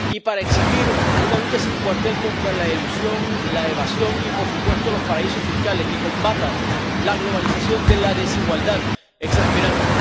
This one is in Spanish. y para exigir una lucha sin cuartel contra la elusión, la evasión y, por supuesto, los paraísos fiscales, que combata la globalización de la desigualdad exasperante